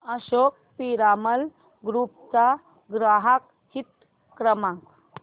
Ashok Piramal group चा ग्राहक हित क्रमांक